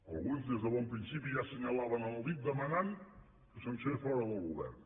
alguns des de bon principi ja assenyalaven amb el dit demanant que se’ns fes fora del govern